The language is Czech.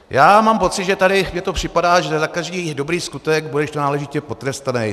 Já mám pocit, že tady mně to připadá, že za každý dobrý skutek budeš tu náležitě potrestaný.